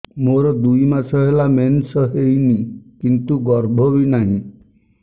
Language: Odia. ମୋର ଦୁଇ ମାସ ହେଲା ମେନ୍ସ ହେଇନି କିନ୍ତୁ ଗର୍ଭ ବି ନାହିଁ